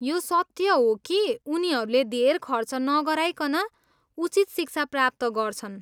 यो सत्य हो कि उनीहरूले धेर खर्च नगराइकन उचित शिक्षा प्राप्त गर्छन्।